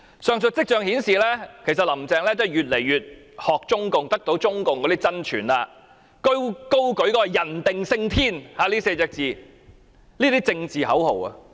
上述跡象顯示，林鄭月娥越來越傾向學習中共，並得到中共真傳，高舉"人定勝天 "4 個字的政治口號。